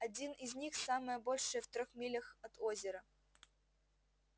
один из них самое большее в трёх милях от озера